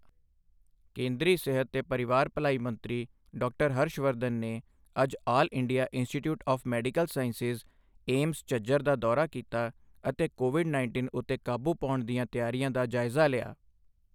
ਕੇਂਦਰੀ ਸਿਹਤ ਤੇ ਪਰਿਵਾਰ ਭਲਾਈ ਮੰਤਰੀ ਡਾਕਟਰ ਹਰਸ਼ ਵਰਧਨ ਨੇ ਅੱਜ All India Institute of Medical Sciences AIIMS, Jhajjar ਦਾ ਦੌਰਾ ਕੀਤਾ ਅਤੇ ਕੋਵਿਡ ਉੱਨੀ ਉੱਤੇ ਕਾਬੂ ਪਾਉਣ ਦੀਆਂ ਤਿਆਰੀਆਂ ਦਾ ਜਾਇਜ਼ਾ ਲਿਆ।